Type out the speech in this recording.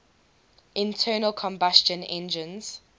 internal combustion engines